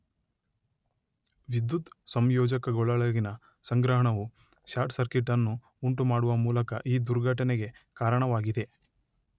ವಿದ್ಯುತ್ ಸಂಯೋಜಕಗಳೊಳಗಿನ ಸಂಗ್ರಹಣವು ಶಾರ್ಟ್ ಸರ್ಕಿಟ್ ಅನ್ನು ಉಂಟುಮಾಡುವ ಮೂಲಕ ಈ ದುರ್ಘಟನೆಗೆ ಕಾರಣವಾಗಿದೆ.